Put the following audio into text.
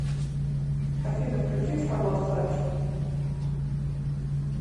афина включи шарлот флеш